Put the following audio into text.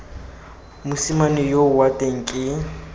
mosimane yoo wa teng ke